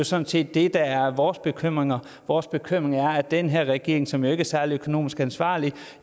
sådan set det der er vores bekymring vores bekymring er at den her regering som jo ikke er særlig økonomisk ansvarlig